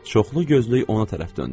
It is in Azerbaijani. Çoxlu gözlük ona tərəf döndü.